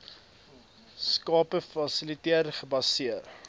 skappe fasiliteer gebaseer